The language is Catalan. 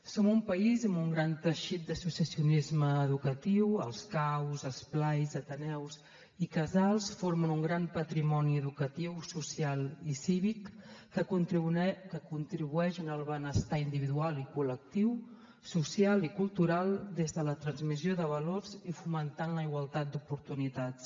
som un país amb un gran teixit d’associacionisme educatiu els caus esplais ateneus i casals formen un gran patrimoni educatiu social i cívic que contribueix al benestar individual i col·lectiu social i cultural des de la transmissió de valors i fomentant la igualtat d’oportunitats